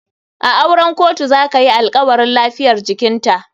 A auren kotu zakayi alkawarin lafiyar jikinta.